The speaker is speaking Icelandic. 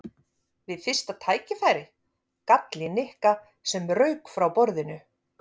Við fyrsta tækifæri? gall í Nikka sem rauk upp frá borðinu.